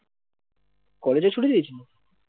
কলেজও ছুটি দিয়েছে